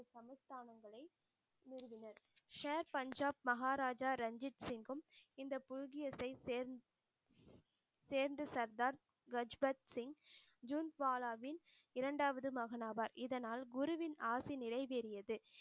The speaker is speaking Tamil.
share பஞ்சாப் மகாராஜா ரஞ்சித் சிங்கும் இந்த புழ்கியத்தை சேர்ந்~சேர்ந்து சர்தாத் கஜ்பத்சிங் ஜூன் பாலாவின் இரண்டாவது மகனாவார் இதனால் குருவின் ஆசை நிறைவேறியது